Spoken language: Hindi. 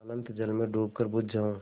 अनंत जल में डूबकर बुझ जाऊँ